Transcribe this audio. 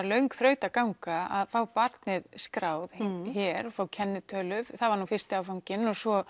löng þrautaganga að fá barnið skráð hér fá kennitölu það var fyrsti áfanginn og svo